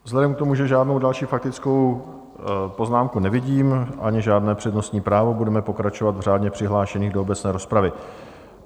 Vzhledem k tomu, že žádnou další faktickou poznámku nevidím ani žádné přednostní právo, budeme pokračovat v řádně přihlášených do obecné rozpravy.